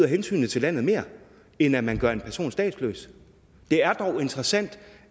hensynet til landet mere end at man gør en person statsløs det er dog interessant